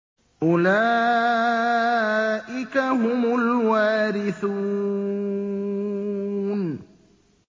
أُولَٰئِكَ هُمُ الْوَارِثُونَ